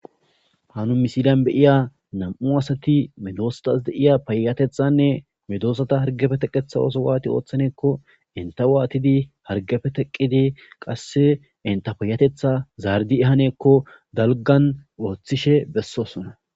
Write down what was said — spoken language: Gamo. Hanu misilan beiya nam7u asati medoostas deiya payyatethanne medoosata hargafe teqetha oso waati ooththaneekko inta waatidi hargafe teqqidi qasse inta payatetha zaardi ehaneekko dalgan ooththishe bessosona.